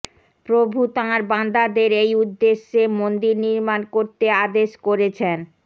প্রভু তাঁর বান্দাদের এই উদ্দেশ্যে মন্দির নির্মাণ করতে আদেশ করেছেন